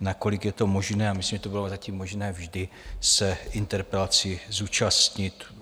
nakolik je to možné, a myslím, že to bylo zatím možné vždy, se interpelací zúčastnit.